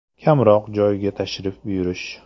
Kamroq joyga tashrif buyurish.